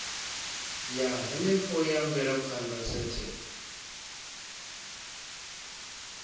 ya henefho ya mvelaphanda sethe